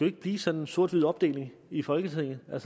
ikke blive sådan en sort hvid opdeling i folketinget jeg